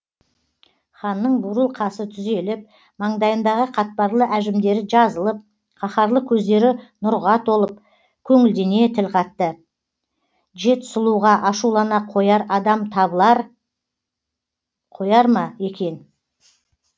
ханның бурыл қасы түзеліп маңдайындағы қатпарлы әжімдері жазылып қаһарлы көздері нұрға толып көңілдене тіл қатты жет сұлуға ашулана қояр адам табыла қояр ма екен